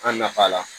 An nafa la